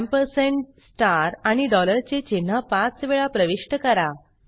ampersand star आणि dollar चे चिन्ह पाच वेळा प्रविष्ट करा